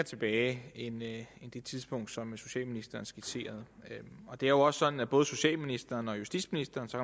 tilbage end det tidspunkt som socialministeren skitserede det er jo også sådan at både socialministeren og justitsministeren så